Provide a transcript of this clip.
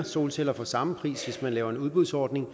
solceller for samme pris hvis man laver en udbudsordning